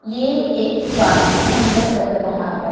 ये एक पुराना खंडर लग रहा है।